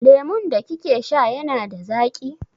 Lemun da kike sha yana da zaƙi?